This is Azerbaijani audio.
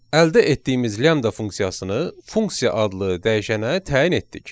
Əldə etdiyimiz lambda funksiyasını funksiya adlı dəyişənə təyin etdik.